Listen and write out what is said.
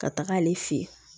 Ka taga ale fɛ yen